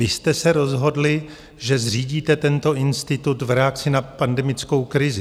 Vy jste se rozhodli, že zřídíte tento institut v reakci na pandemickou krizi.